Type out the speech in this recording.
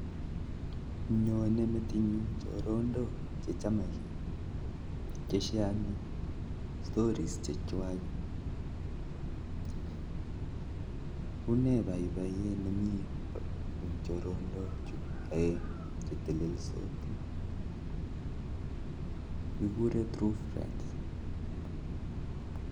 Nyonei metinyun choronok chechamgei ak chopei boiboyet ak kikure true friends